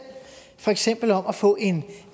for eksempel om at få en